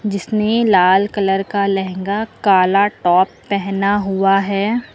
जिसने लाल कलर का लहंगा काला टॉप पहना हुआ है।